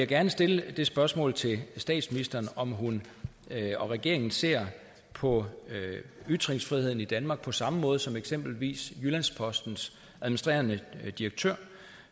gerne stille et spørgsmål til statsministeren om om hun og regeringen ser på ytringsfriheden i danmark på samme måde som eksempelvis jyllands postens administrerende direktør